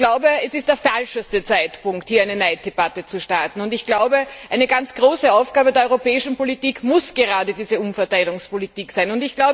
Ich glaube, es ist der falscheste Zeitpunkt, hier eine Neiddebatte zu starten. Eine ganz große Aufgabe der europäischen Politik muss gerade diese Umverteilungspolitik sein.